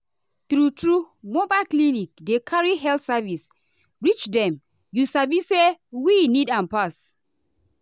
true-true mobile clinic dey carry health service reach dem you sabi say wey need am pass.